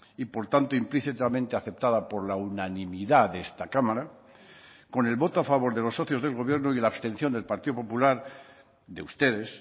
y por tanto implícitamente aceptada por la unanimidad de esta cámara con el voto a favor de los socios del gobierno y la abstención del partido popular de ustedes